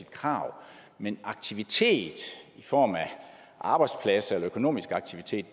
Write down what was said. krav men aktiviteter i form af arbejdspladser eller økonomisk aktivitet